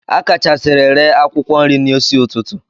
A akachasiri ree akwụkwọ nri n'isi ụtụtụ.